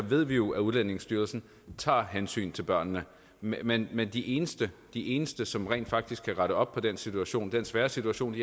ved vi jo at udlændingestyrelsen tager hensyn til børnene men men de eneste de eneste som rent faktisk kan rette op på den situation den svære situation